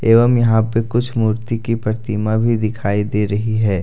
एवं यहां पर कुछ मूर्ति की प्रतिमा भी दिखाई दे रही है।